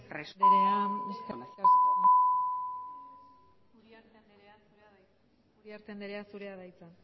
responsable eskerrik asko uriarte andrea zurea da hitza